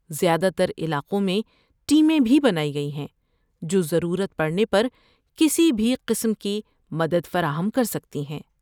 زیادہ تر علاقوں میں ٹیمیں بھی بنائی گئی ہیں جو ضرورت پڑنے پر کسی بھی قسم کی مدد فراہم کر سکتی ہیں۔